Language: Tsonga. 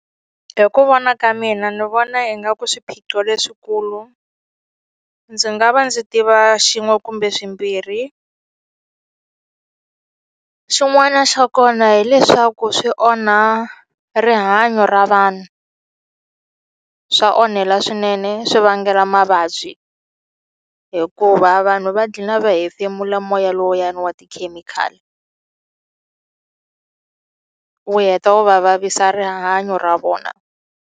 Hi ku vona ka mina ni vona ingaku swiphiqo leswikulu ndzi nga va ndzi tiva xin'we kumbe swimbirhi xin'wana xa kona hileswaku swi onha rihanyo ra vanhu swa onhela swinene swi vangela mavabyi hikuva vanhu va gina va hefemula moya lowuyani wa tikhemikhali wu heta wu va vavisa rihanyo ra vona.